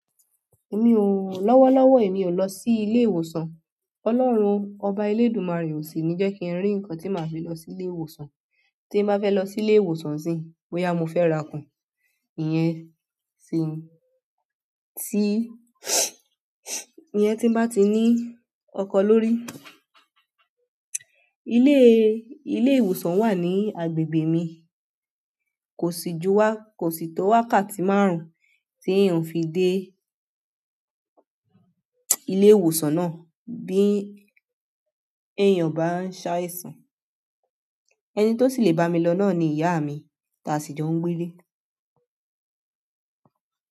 Èmi ò, lọ́wọ́lọ́wọ́ èmi ò lọ sí ilé ìwòsàn. Ọlọ́run, ọba elédùmarè ò sì ni jẹ́ kí n rí nǹkan tí màá fi lọ sí ilé ìwòsàn. Tí n bá fẹ́ lọ sí ilé ìwòsàn síi, bóyá mo fẹ́ ra kun, ìyẹn ti, tí, ìyẹn tí n bá ti ní ọkọ lórí. Ilé, ilé ìwòsàn wà ní agbègbè mi, kò sì ju wá, kò sì tó wákàtí márùn-ún tí èèyàn ò fi dé ilé ìwòsàn náà bí èèyàn bá ń ṣàìsàn. Ẹni tó sì lè bá mi lọ náà ni ìyá mi, tàá sì jọ ń gbé ilé.